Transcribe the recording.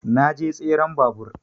Na je tseren babur